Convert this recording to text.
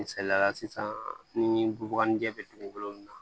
Misaliyala sisan ni bubaga jɛ bɛ dugukolo min na